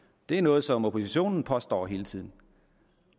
det er noget som oppositionen påstår hele tiden